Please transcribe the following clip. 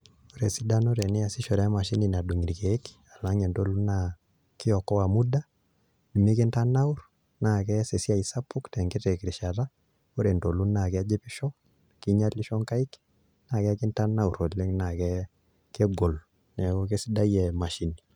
Ore esidano teniasishore emashini nadung' irkeek alang' entolu naa kiokoa muda nimikintanaurr naa ekees esiai sapuk tenkiti rishata ore entolu naa kejipisho kinyialisho nkaik naa kakintanaurr oleng' naa kegol, neeku kesidai emashini.